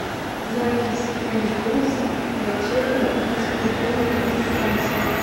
запись мбуз врачебно физкультурный диспансер